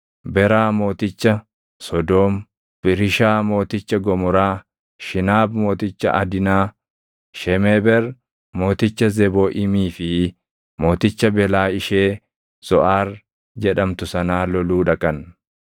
Beraa mooticha Sodoom, Birishaa mooticha Gomoraa, Shinaab mooticha Adimaa, Shemeeber mooticha Zebooʼiimii fi mooticha Belaa ishee Zoʼaar jedhamtu sanaa loluu dhaqan.